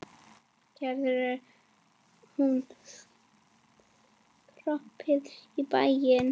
Getur hún skroppið í bæinn?